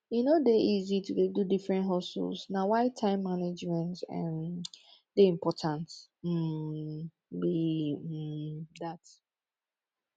e no dey easy to dey do different hustles na why time management um dey important um be um dat